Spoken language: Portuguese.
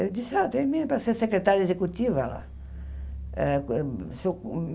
Eu disse, ah termina para ser secretária executiva lá. Eh eh